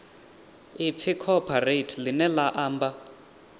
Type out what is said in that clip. ipfi cooperate ḽine ḽa amba